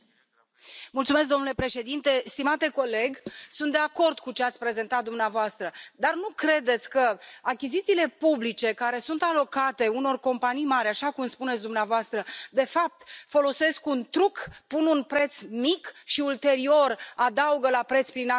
Domnule președinte, stimate coleg, sunt de acord cu ce ați prezentat dumneavoastră, dar nu credeți că achizițiile publice care sunt alocate unor companii mari așa cum spuneți dumneavoastră de fapt, folosesc un truc pun un preț mic și ulterior adaugă la preț prin acte adiționale?